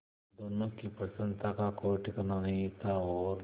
दोनों की प्रसन्नता का कोई ठिकाना नहीं था और